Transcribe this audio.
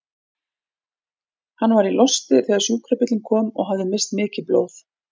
Hann var í losti þegar sjúkrabíllinn kom og hafði misst mikið blóð.